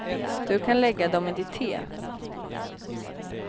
Du kan lägga dem i ditt te.